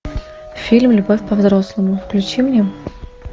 фильм любовь по взрослому включи мне